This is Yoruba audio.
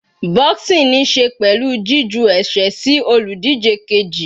Boxing níí ṣe pẹ̀lú jí ju ẹ̀sẹ́ sí olùdíje keji.